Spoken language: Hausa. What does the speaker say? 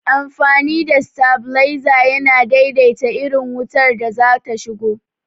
Amfani da stabilizer yana daidaita irin wutar da zata shigo